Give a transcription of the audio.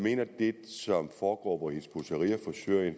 mener at det som foregår hvor hizb ut tahrir forsøger at